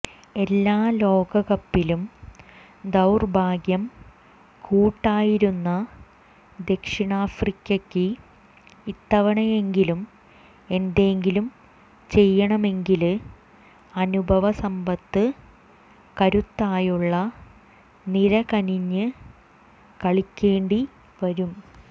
എല്ലാ ലോകകപ്പിലും ദൌര്ഭാഗ്യം കൂട്ടായിരുന്ന ദക്ഷിണാഫ്രിക്കക്ക് ഇത്തവണയെങ്കിലും എന്തെങ്കിലും ചെയ്യണമെങ്കില് അനുഭവ സമ്പത്ത് കരുത്തായുള്ള നിര കനിഞ്ഞ് കളിക്കേണ്ടി വരും